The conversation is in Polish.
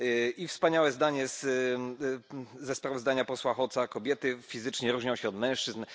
I wspaniałe zdanie ze sprawozdania posła Hoca kobiety fizycznie różnią się od mężczyzn.